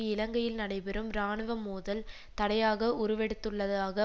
இலங்கையில் நடைபெறும் இராணுவ மோதல் தடையாக உருவெடுத்துள்ளதாக